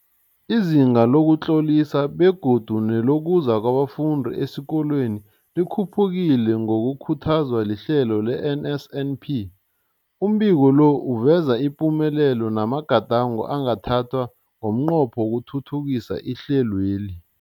Izinga lokuzitlolisa begodu nelokuza kwabafundi esikolweni likhuphukile ngokukhuthazwa lihlelo le-NSNP. Umbiko lo uveza ipumelelo namagadango angathathwa ngomnqopho wokuthuthukisa ihlelweli.